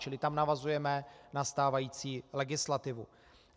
Čili tam navazujeme na stávající legislativu.